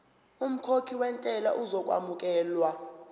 umkhokhi wentela uzokwamukelwa